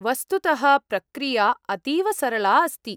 वस्तुतः प्रक्रिया अतीव सरला अस्ति।